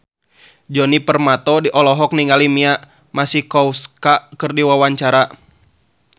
Djoni Permato olohok ningali Mia Masikowska keur diwawancara